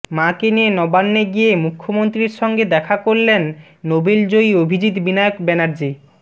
মাকে নিয়ে নবান্নে গিয়ে মুখ্যমন্ত্রীর সঙ্গে দেখা করলেন নোবেলজয়ী অভিজিৎ বিনায়ক ব্যানার্জি